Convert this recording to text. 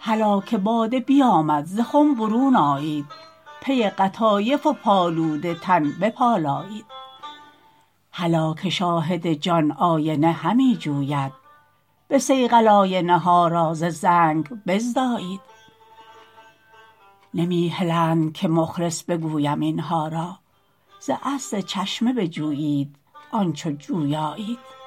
هلا که باده بیامد ز خم برون آیید پی قطایف و پالوده تن بپالایید هلا که شاهد جان آینه همی جوید به صیقل آینه ها را ز زنگ بزدایید نمی هلند که مخلص بگویم این ها را ز اصل چشمه بجویید آن چو جویایید